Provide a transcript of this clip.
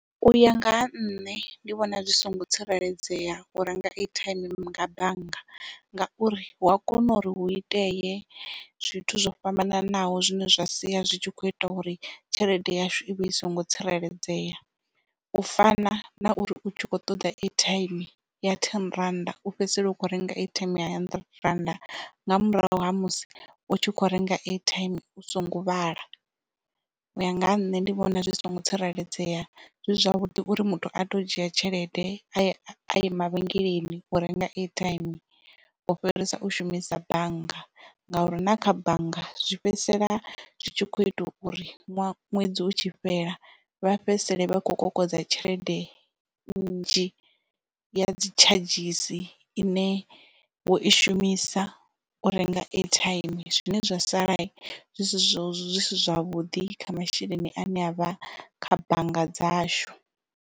U ya nga ha nṋe ndi vhona zwi songo tsireledzea u renga airtime nga bannga, ngauri hu a kona uri hu itee zwithu zwo fhambananaho zwine zwa sia zwi tshi kho ita uri tshelede yashu i vhe i songo tsireledzea. U fana na uri u tshi kho ṱoḓa airtime ya ten rannda u fhedzisela u kho renga airtime ya hundred rand nga murahu ha musi u tshi kho renga airtime u songo vhala. U ya nga ha nṋe ndi vhona zwi songo tsireledzea zwi zwavhuḓi uri muthu ato dzhia tshelede a ye mavhengeleni u renga airtime u fhirisa u shumisa bannga ngauri na kha bannga zwi fhedzisela zwi tshi kho itelwa uri ṅwedzi utshi fhela vha fhedzisele vha kho kokodza tshelede nnzhi ya dzi tshadzhisi ine wo i shumisa u renga airtime zwine zwa sala zwi si zwavhuḓi kha masheleni ane avha kha bannga dzashu.